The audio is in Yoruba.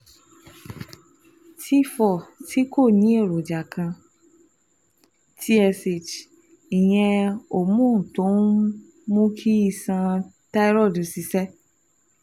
T four tí kò ní èròjà kan, T-S-H ìyẹn hormone tó ń mú kí iṣan thyroid ṣiṣẹ́